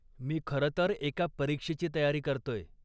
मी खरंतर एका परीक्षेची तयारी करतोय.